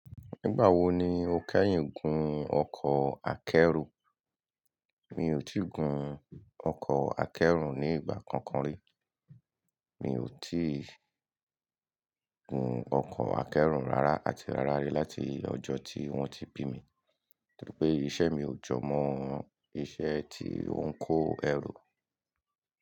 Nígbà wo ni o kẹ́yìn gun ọkọ̀ akẹ́rù? Mi ò tí gun ọkọ̀ akẹ́rù ní ìgbà kankan rí. Mi ò tí gun ọkọ̀ akẹ́rù rárá àti rárá rí láti ọjọ́ tí wọ́n ti bí mi. Nítorípé iṣẹ́ mi ò jọ mọ́ ohun iṣẹ́ tí ó ń kó ẹrù.